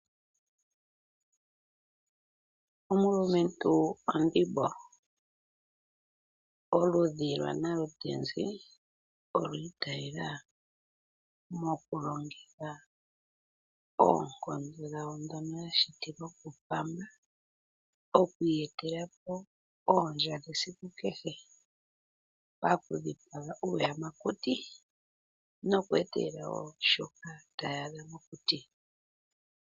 Omulumentu ondhimbo oludhi lwanalutenzi olwi itayela mokulongitha oonkondo dhawo ndono ya shitilwa kuPamba oku iyetela po iikulya yawo ya kehe esiku mokuthipaga iiyamakuti noku etelela shoka tayaadha mokuti.